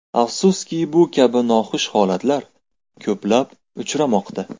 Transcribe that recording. Afsuski, bu kabi noxush holatlar ko‘plab uchramoqda.